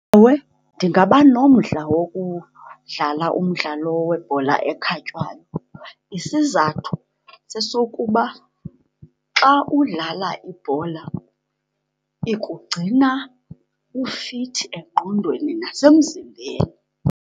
Ewe, ndingaba nomdla wokudlala umdlalo webhola ekhatywayo. Isizathu sesokuba xa udlala ibhola ikugcina ufithi engqondweni nasemzimbeni.